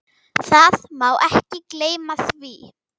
Það má ekki gleyma því.